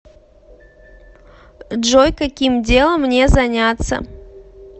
джой каким делом мне заняться